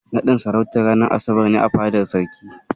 Naɗin sarautar ranar asabar ne a fadar Sarki.